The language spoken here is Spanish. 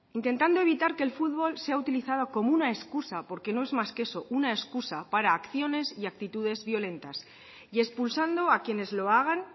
intentando evitar que el fútbol sea utilizado como una excusa porque no es más que eso una excusa para acciones y actitudes violentas y expulsando a quienes lo hagan